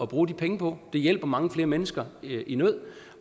bruge de penge på det hjælper mange flere mennesker i nød